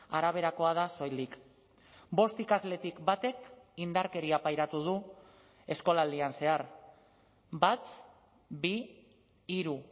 araberakoa da soilik bost ikasletik batek indarkeria pairatu du eskolaldian zehar bat bi hiru